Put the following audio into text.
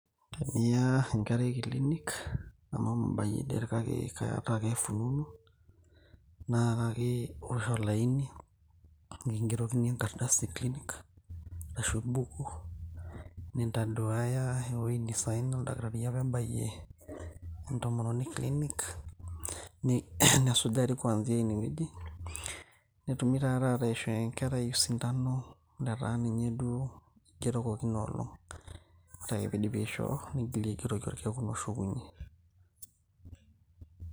teniya enkerai kilinik amu mabayie det kake kaata ake fununu naa kake iwosh olaini nikingerokini enkardasi e klinik arashu embuku nintaduaya ewueji nisaina oldakitari apa ebayie entomononi klinik nesujari kwanzia inewueji netumi taa taata aishoo enkerai osindano letaa ninye duo igerokoki inolong ore ake piidipi aisho nigili aigeroki orkekun oshukunyie.